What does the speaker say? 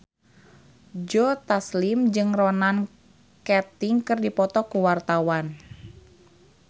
Joe Taslim jeung Ronan Keating keur dipoto ku wartawan